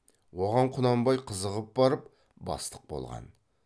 оған құнанбай қызығып барып бастық болған